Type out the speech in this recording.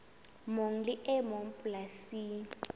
mong le e mong polasing